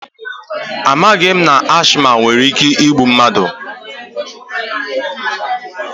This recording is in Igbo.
Amaghị m na ashịma nwere ike igbu mmadụ